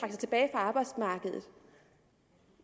arbejdsmarkedet